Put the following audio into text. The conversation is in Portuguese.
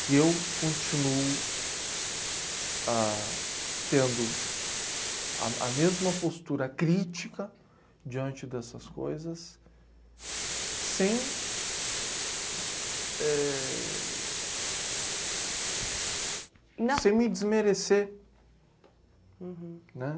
que eu continuo ah... tendo a m, a mesma postura crítica diante dessas coisas sem, éh... Sem me desmerecer.